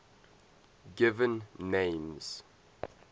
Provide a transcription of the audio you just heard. given names